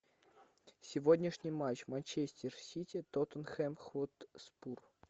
сегодняшний матч манчестер сити тоттенхэм хотспур